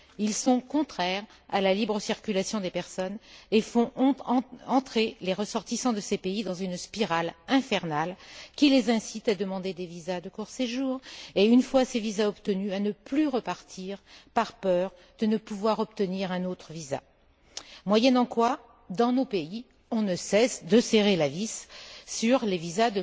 Ils sont contraires à la libre circulation des personnes et font entrer les ressortissants de ces pays dans une spirale infernale qui les incite à demander des visas de court séjour et, une fois ces visas obtenus, à ne plus repartir par peur de ne pouvoir obtenir un autre visa, moyennant quoi, dans nos pays, on ne cesse de serrer la vis en ce qui concerne les visas